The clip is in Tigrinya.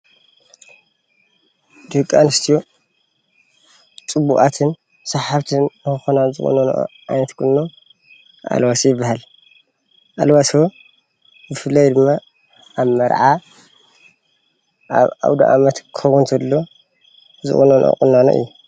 ደቂ ኣንስትዮ ፅቡቃትን ሰሓብትን ንኽኾና ዝቁነንኦ ዓይነት ቁኖ ኣልባሶ ይበሃል አልዋሶ ብፍላይ ድማ አብ መርዓ አብ እውደአመት ክኸውን ተሎ ዝቁነነኦ ቁናኖ እዩ።